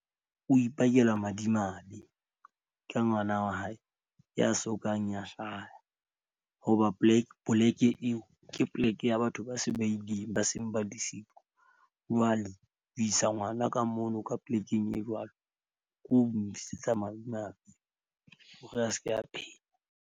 O ipakela madimabe ke ngwana wa hae ya sokang ya hlaya, hoba poleke eo ke poleke ya batho ba se ba ileng ba seng ba . Jwale ho isa ngwana ka mono ka polekeng e jwalo, ko ntlisetsa malome a hore a seke a phetha.